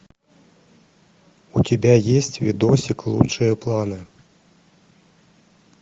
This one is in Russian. у тебя есть видосик лучшие планы